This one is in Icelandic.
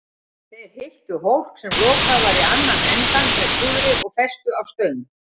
Þeir fylltu hólk, sem lokaður var í annan endann, með púðri og festu á stöng.